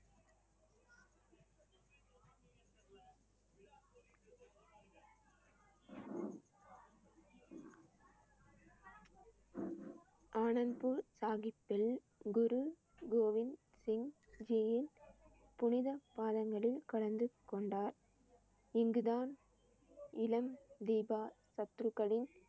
ஸ்ரீ அனந்த்பூர் சாஹிப்பில் குரு கோவிந்த் சிங் ஜியின் புனிதப் பாதங்களில் கலந்து கொண்டார். இங்குதான் இளம் தீபா சத்துருக்களின்